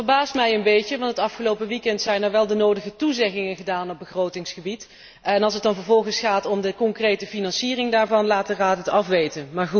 Het verbaast mij een beetje, want het afgelopen weekend zijn er wel de nodige toezeggingen gedaan op begrotingsgebied en als het dan vervolgens gaat om de concrete financiering daarvan, laat de Raad het afweten.